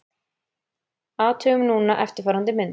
Athugum núna eftirfarandi mynd: